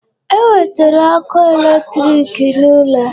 E wetere ọkụ electric n'ụlọ